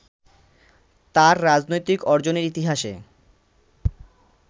তার রাজনৈতিক অর্জনের ইতিহাসে